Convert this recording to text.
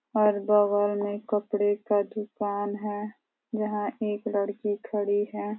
और बगल में कपड़े का दुकान है। यहाँ एक लड़की खड़ी है।